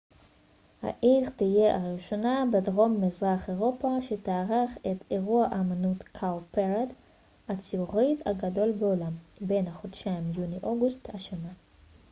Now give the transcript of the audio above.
העיר תהיה הראשונה בדרום מזרח אירופה שתארח את ה cowparade אירוע האמנות הציבורית הגדול בעולם בין החודשים יוני ואוגוסט השנה